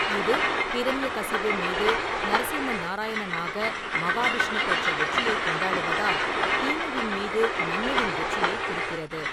இது ஹிரண்யகசிபு மீது நரசிம்ம நாராயணனாக மகாவிஷ்ணு பெற்ற வெற்றியைக் கொண்டாடுவதால், தீமையின் மீது நன்மையின் வெற்றியைக் குறிக்கிறது.